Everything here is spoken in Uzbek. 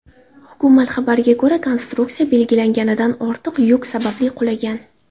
Hukumat xabariga ko‘ra, konstruksiya belgilanganidan ortiq yuk sababli qulagan.